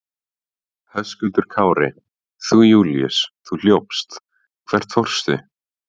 Höskuldur Kári: Þú Júlíus, þú hljópst, hvert fórstu?